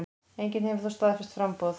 Enginn hefur þó staðfest framboð.